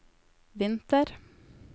vinter